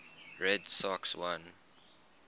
red sox won